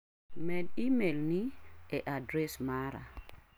Med imel ni e adres mara.